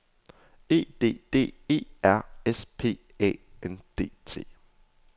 E D D E R S P Æ N D T